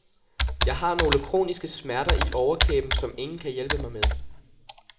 Jeg har nogle kroniske smerter i overkæben, som ingen kan hjælpe mig med.